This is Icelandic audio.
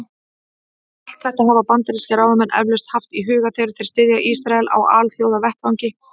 Allt þetta hafa bandarískir ráðamenn eflaust haft í huga, þegar þeir styðja Ísrael á alþjóðavettvangi.